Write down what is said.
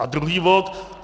A druhý bod.